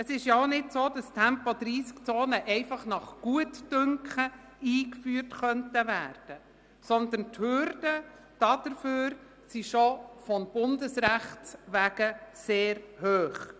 Es ist auch nicht so, dass Tempo-30-Zonen einfach nach Gutdünken eingeführt werden können, sondern die Hürden dafür sind schon vonseiten des Bundesrechts sehr hoch.